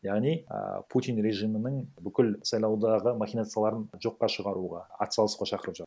яғни а путин режимінің бүкіл сайлаудағы махинацияларын жоққа шығаруға ат салысуға шақырып